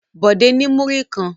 Bọ̀dé ní múrí kan.